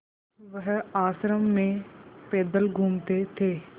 वह आश्रम में पैदल घूमते थे